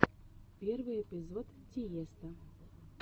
первый эпизод тиесто